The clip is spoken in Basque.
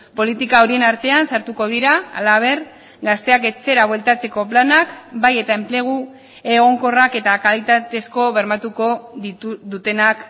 politika horien artean sartuko dira halaber gazteak etxera bueltatzeko planak bai eta enplegu egonkorrak eta kalitatezko bermatuko dutenak